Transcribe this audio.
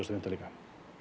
og fimmtán